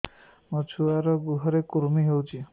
ମୋ ଛୁଆର୍ ଗୁହରେ କୁର୍ମି ହଉଚି